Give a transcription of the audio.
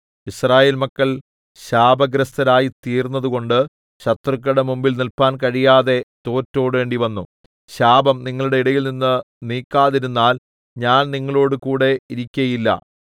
യിസ്രായേൽ മക്കൾ ശാപഗ്രസ്തരായി തീർന്നതുകൊണ്ട് ശത്രുക്കളുടെ മുമ്പിൽ നില്പാൻ കഴിയാതെ തോറ്റോടേണ്ടിവന്നു ശാപം നിങ്ങളുടെ ഇടയിൽനിന്ന് നീക്കാതിരുന്നാൽ ഞാൻ നിങ്ങളോടുകൂടെ ഇരിക്കയില്ല